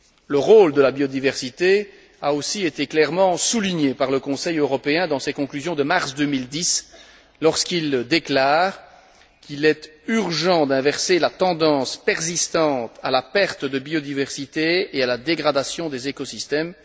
Le rôle de la biodiversité a aussi été clairement souligné par le Conseil européen dans ses conclusions de mars 2010, lorsqu'il déclare qu'il est urgent d'inverser la tendance persistante à la perte de biodiversité et à la dégradation des écosystèmes.